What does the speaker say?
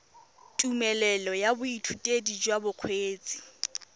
tumelelo ya boithutedi jwa bokgweetsi